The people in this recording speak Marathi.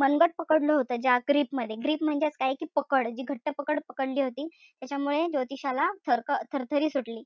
मनगट पकडलं होत ज्या grip मध्ये grip म्हणजे काय कि पकड. जी घट्ट पकड पकडली होती. त्याच्यामुळे ज्योतिषाला थरक थरथरी सुटली.